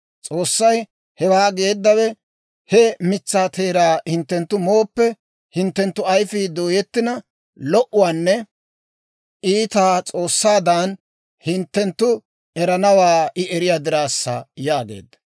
S'oossay hewaa geeddawe, he mitsaa teeraa hinttenttu mooppe, hinttenttu ayfii dooyettina, lo"uwaanne iitaa S'oossaadan hinttenttu eranawaa I eriyaa diraassa» yaageedda.